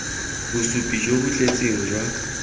bosupi jo bo tletseng jwa